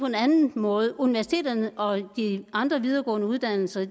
en anden måde universiteterne og de andre videregående uddannelser